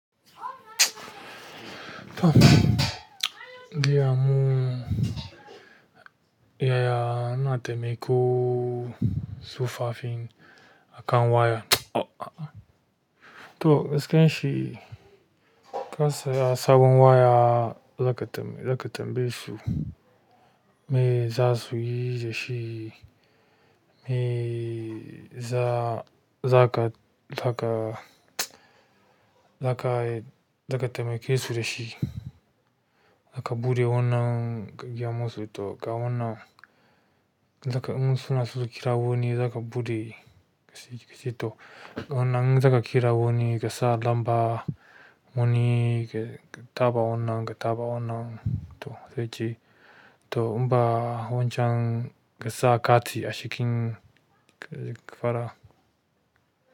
Toh in gaya mu yaya ina taimakon tsofaffi akan waya. Toh gaskiyan shi, ka siya sabon waya zaka tambayesu me za su yi da shi? Me za, za ka, za ka, za ka, za ka taimake su da shi? Za ka buɗe wannan ka gaya musu to ga wannan. Za ka in suna so kira wani, za ka buɗe gasi, gasi to wannan. Za ka kira wani, gasa lamba, wani, ka taɓa wannan, taɓa wannan to sai ji. To in ba wancan kasa kati a cikin fara.